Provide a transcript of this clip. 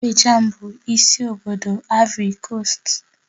Abijan bụ isi obodo Aịvorị Koost